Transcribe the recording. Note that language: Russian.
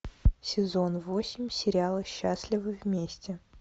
сезон восемь сериала счастливы вместе